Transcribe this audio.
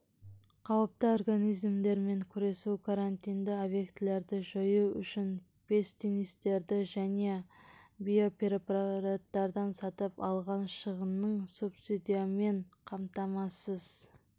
қауіпті организмдермен күресу карантинді объектілерді жою үшін пестицидтерді және биопрепараттарды сатып алған шығынын субсидиямен қамтамасыз